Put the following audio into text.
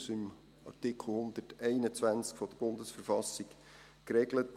Das ist in Artikel 121 BV geregelt.